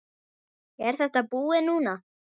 Er þetta búið núna?